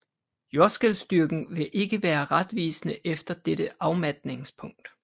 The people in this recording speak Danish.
Jordskælvstyrken vil ikke være retvisende efter dette afmatningspunkt